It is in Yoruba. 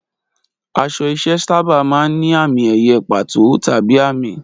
Aṣọ iṣẹ́ sábà máa ń ní àmì-ẹ̀yẹ pàtó tàbí àmì.